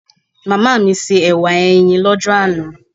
Màmá mi se ẹ̀wà ẹyin l'ọ́jọ́ àná